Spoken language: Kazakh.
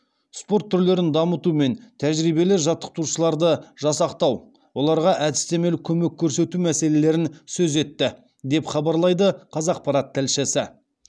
спорт түрлерін дамыту мен тәжірибелі жаттықтырушыларды жасақтау оларға әдістемелік көмек көрсету мәселелерін сөз етті деп хабарлайды қазақпарат тілшісі